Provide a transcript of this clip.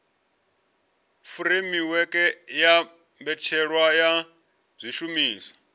furemiweke ya mbetshelwa ya zwishumiswa